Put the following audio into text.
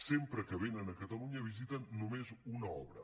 sempre que venen a catalunya visiten només una obra